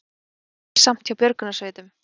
Erilsamt hjá björgunarsveitum